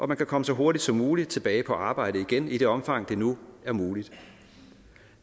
man kan komme så hurtigt som muligt tilbage på arbejde igen i det omfang det nu er muligt